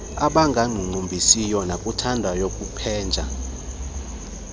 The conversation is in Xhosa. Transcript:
abangakuqumbisiyo nabakuthandayo kupheja